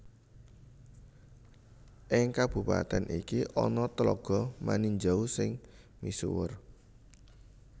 Ing kabupatèn iki ana Tlaga Maninjau sing misuwur